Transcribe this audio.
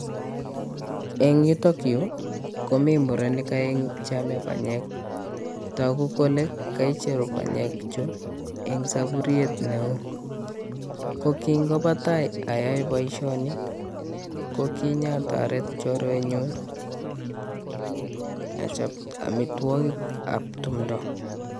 Eng' yuto yu komii murenik aeng'u cheame panyek togu kole kaicheru panyek chu eng' sapuriet neo, ko kingopatai ayae boisioni ko kinyatoret chorwenyun achap amitwogik ab tumdo.